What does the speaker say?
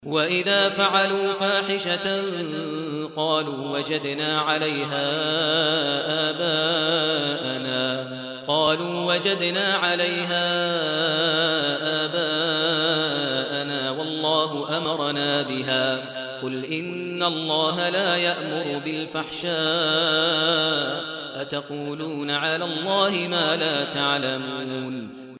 وَإِذَا فَعَلُوا فَاحِشَةً قَالُوا وَجَدْنَا عَلَيْهَا آبَاءَنَا وَاللَّهُ أَمَرَنَا بِهَا ۗ قُلْ إِنَّ اللَّهَ لَا يَأْمُرُ بِالْفَحْشَاءِ ۖ أَتَقُولُونَ عَلَى اللَّهِ مَا لَا تَعْلَمُونَ